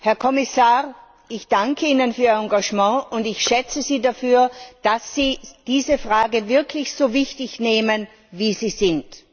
Herr Kommissar, ich danke Ihnen für Ihr Engagement, und ich schätze Sie dafür, dass Sie diese Fragen wirklich so wichtig nehmen, wie sie sind.